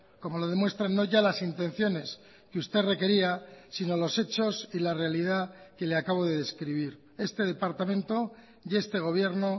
como lo demuestran no ya las intenciones que usted requería sino los hechos y la realidad que le acabo de describir este departamento y este gobierno